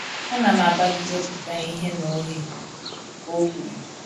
“ Ana m agbalị iwepụta ihe na oghe, ” ka o kwuru